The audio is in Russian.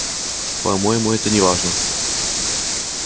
по-моему это неважно